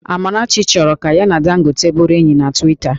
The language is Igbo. Amarachi chọrọ ka ya na Dangote bụrụ enyi na Twita